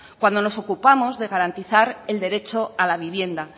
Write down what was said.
cuando nos ocupamos de garantizar el derecho a la vivienda